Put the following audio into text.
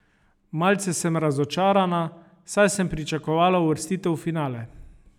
Malce sem razočarana, saj sem pričakovala uvrstitev v finale.